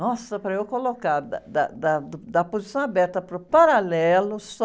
Nossa, para eu colocar, da, da, da, do, da posição aberta para o paralelo, só...